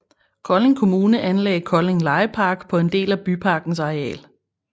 Kolding Kommune anlagde Kolding Legepark på en del af byparkens areal